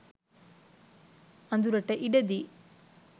අඳුරට ඉඩදී